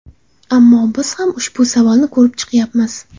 Ammo biz ham ushbu savolni ko‘rib chiqyapmiz.